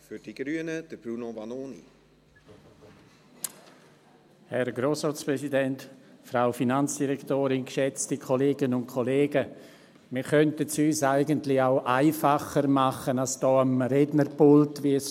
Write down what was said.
Wir könnten es uns eigentlich auch einfacher machen, als hier am Rednerpult Pirouetten zu drehen.